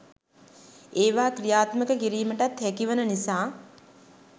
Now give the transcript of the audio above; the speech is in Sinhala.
ඒවා ක්‍රියාත්මක කිරීමටත් හැකි වන නිසා